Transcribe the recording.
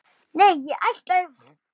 Nei, ég ætla að.